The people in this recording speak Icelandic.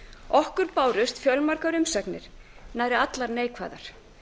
okkur bárust fjölmargar umsagnir nær allar neikvæðar